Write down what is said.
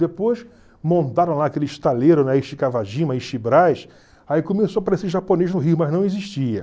Depois, montaram lá aquele estaleiro aí começou a aparecer japonês no Rio, mas não existia.